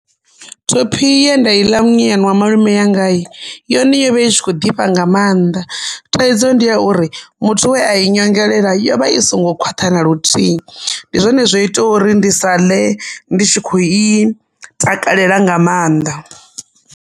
Thophi ye nda i ḽa munyanyani wa malume wanga hi! yone yovha i kho ḓifha nga mannḓa thaidzo ndi ya uri muthu we a i nyongelela yovha i songo khwaṱha na luthihi ndi zwone zwo itaho uri ndi sa ḽe ndi tshi kho i takalela nga mannḓa.